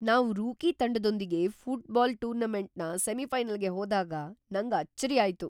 ನಾವ್ ರೂಕಿ ತಂಡದೊಂದಿಗೆ ಫುಟ್ಬಾಲ್ ಟೂರ್ನಮೆಂಟ್‌ನ ಸೆಮಿಫೈನಲ್ಗೆ ಹೋದಾಗ್ ನಂಗ್ ಅಚ್ಚರಿ ಆಯ್ತು.